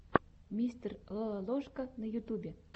мистер лололошка на ютубе